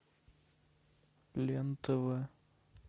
лен тв